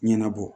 Ɲɛnabɔ